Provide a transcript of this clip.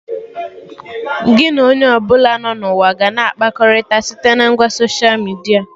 Gị na onye ọbụla nọ na ụwa ga-akpakọrịta site na ngwa soshia midia